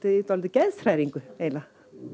í dálítilli geðshræringu eiginlega